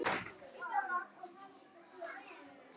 Magnús: Þú lofar því?